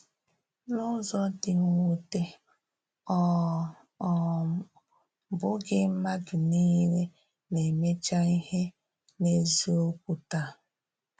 N’ụ̀zọ̀ dị́ mwùtè, ọ um bụ́ghị̀ mmadụ niile na-emèchá ihe n’ezíokwu tàá.